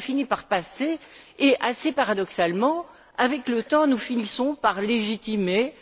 Cela finit par passer et, assez paradoxalement, avec le temps nous finissons par légitimer,